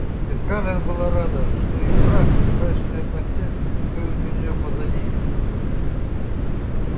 и скарлетт была рада что и брак и брачная постель всё это для неё позади